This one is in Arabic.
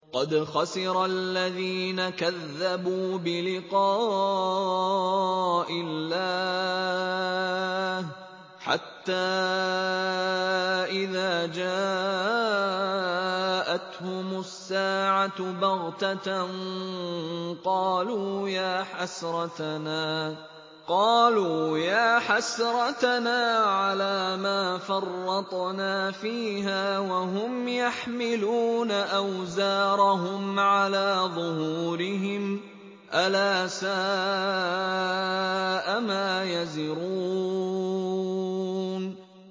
قَدْ خَسِرَ الَّذِينَ كَذَّبُوا بِلِقَاءِ اللَّهِ ۖ حَتَّىٰ إِذَا جَاءَتْهُمُ السَّاعَةُ بَغْتَةً قَالُوا يَا حَسْرَتَنَا عَلَىٰ مَا فَرَّطْنَا فِيهَا وَهُمْ يَحْمِلُونَ أَوْزَارَهُمْ عَلَىٰ ظُهُورِهِمْ ۚ أَلَا سَاءَ مَا يَزِرُونَ